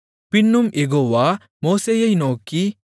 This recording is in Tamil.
பின்னும் யெகோவா மோசேயை நோக்கி